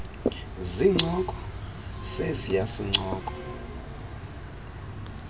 zincoko sesiya sincoko